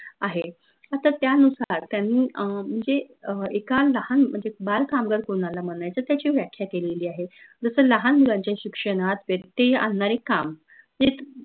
आहे आता त्यानुसार त्यांनी अं म्हनजे अह एका लाहान म्हनजे बाल कामगार कोनाला म्हनायचं त्याची व्याख्या केलेली आहे जस लहान मुलांच्या शिक्षनत व्यत्यय आननारे काम